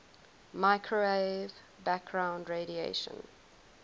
microwave background radiation